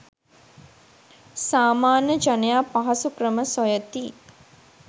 සාමාන්‍ය ජනයා පහසු ක්‍රම සොයති.